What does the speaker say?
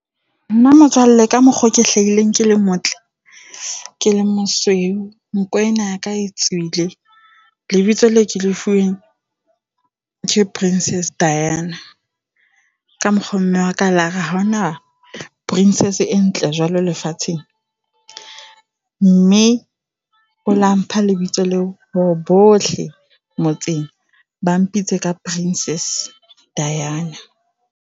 Nn motswalle ka mokgo ke hlahileng ke le motle, ke le mosweu, nko ena yaka e tswile lebitso leo ke le fuweng ke Princess Diana. Ka mokgwa mme wa ka a lare ha hona princess e ntle jwalo lefatsheng, mme o la mpha lebitso leo hore bohle motseng ba mpoditse ka Princess Diana.